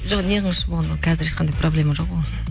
жоқ неғылыңызшы болғанда қазір ешқандай проблема жоқ оған